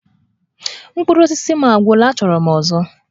Mkpụrụ osisi m agwụla! Achọrọ m ọzọ!